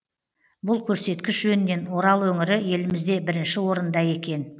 бұл көрсеткіш жөнінен орал өңірі елімізде бірінші орында екен